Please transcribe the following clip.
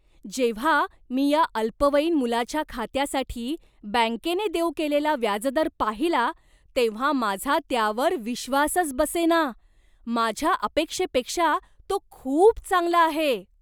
जेव्हा मी या अल्पवयीन मुलाच्या खात्यासाठी बँकेने देऊ केलेला व्याजदर पाहिला तेव्हा माझा त्यावर विश्वासच बसेना! माझ्या अपेक्षेपेक्षा तो खूप चांगला आहे.